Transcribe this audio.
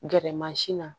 Gɛrɛ na